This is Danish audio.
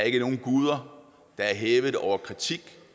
ikke nogen guder der er hævet over kritik